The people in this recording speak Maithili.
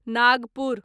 नागपुर